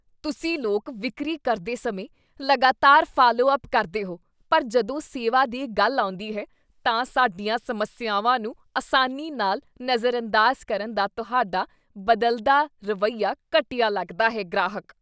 ਤੁਸੀਂ ਲੋਕ ਵਿਕਰੀ ਕਰਦੇ ਸਮੇਂ ਲਗਾਤਾਰ ਫਾਲੋਅੱਪ ਕਰਦੇ ਹੋ ਪਰ ਜਦੋਂ ਸੇਵਾ ਦੀ ਗੱਲ ਆਉਂਦੀ ਹੈ, ਤਾਂ ਸਾਡੀਆਂ ਸਮੱਸਿਆਵਾਂ ਨੂੰ ਆਸਾਨੀ ਨਾਲ ਨਜ਼ਰਅੰਦਾਜ਼ ਕਰਨ ਦਾ ਤੁਹਾਡਾ ਬਦਲਦਾ ਰਵੱਈਆ ਘਟੀਆ ਲੱਗਦਾ ਹੈ ਗ੍ਰਾਹਕ